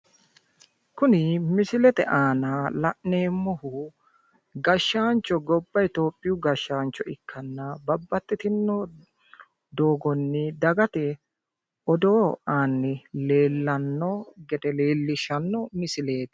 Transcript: kuni misilete aana la'neemmohu gashshaancho gobba itiyophiyu gashshaancho ikkanna babbaxxitinno doogonni dagate odoo aanni leellanno gede leellishshanno misileeti